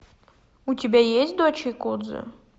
у тебя есть дочь якудзы